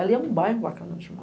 Ali é um bairro bacana de morar.